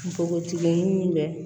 Npogotigiun min bɛ